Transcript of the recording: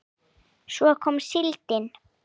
Svo kom síldin.